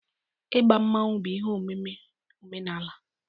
Igba Mmanwu bụ ihe omume omenala